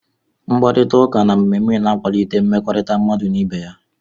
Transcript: Mkparịta ụka na mmemme na-akwalite mmekọrịta mmadụ n'ibé ya.